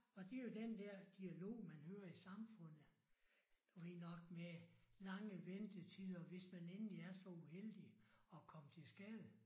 Og det jo den der dialog man hører i samfundet du ved nok med lange ventetider hvis man endelig er så uheldig at komme til skade